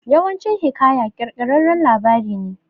Yawancin hiƙaya kirkirarren labari ne